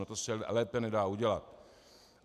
No to se lépe nedá udělat.